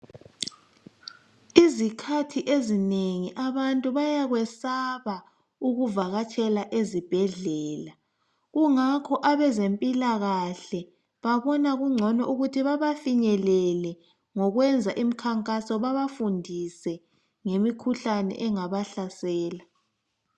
Izikhathi ezinengi abantu bayakwesaba ukuvakatshela ezibhedlela. Kungako abazemphilakahle babonakungcono ukuthi babafinyelele ngokwenza iminkankaso babafundise ngemikhuhlane engabahlasela.